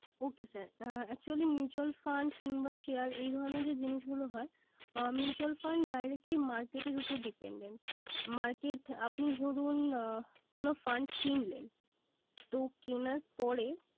ওকে sir actually mutual fund কিংবা share এ ধরনের যে জিনিসগুলো হয়, mutual fund directly market উপর dependent । Market আপনি ধরুন কোন fund কিনলেন তো কেনার পরে